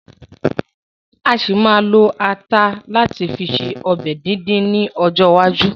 A ṣì ma ma lo ata láti fi ṣe ọbẹ̀ díndín ni ọjọ́ iwájú